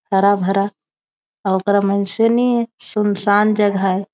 हरा-भरा आउटर माइनसे नी हे सुन-सान जगह हे।